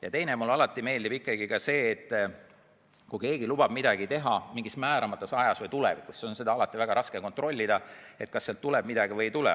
Ja teiseks, kui keegi lubab midagi teha mingis määramata ajas või tulevikus, siis on alati väga raske kontrollida, kas sealt tuleb midagi või ei tule.